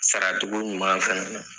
Saratogo ɲuman fana na